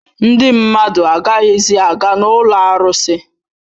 Ndị mmadụ agaghịzi aga n'ụlọ arụsị